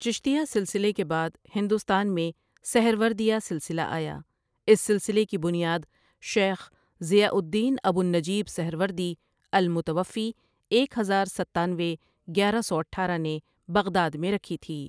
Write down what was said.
چشتیہ سلسلے کے بعد ہندوستان میں سہروردیہ سلسلہ آیا اس سلسلے کی بنیاد شیخ ضیاء الدین ابو النجیب سہروردی المتوفی ایک ہزار ستانوے گیارہ سو اٹھارہ ِ نے بغداد میں ر کھی تھی ۔